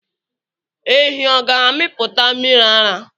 Ehi ọ̀ ga-amịpụta mmiri ara?